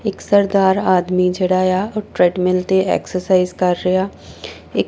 ਇੱਕ ਸਰਦਾਰ ਆਦਮੀ ਜਿਹੜਾ ਏ ਆ ਟਰੈਡਮਿਲ ਤੇ ਐਕਸਰਸਾਈਜ਼ ਕਰ ਰਿਹਾ ਇ--